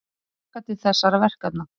Hún hlakkar til þessara verkefna.